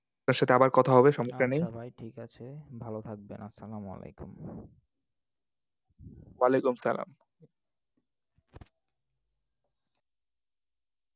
একসাথে আবার কথা হবে, সমস্যা নেই। আচ্ছা ভাই ঠিক আছে। ভালো থাকবেন। আসসালামু আলাইকুম। ওয়ালাইকুমুস-সালাম।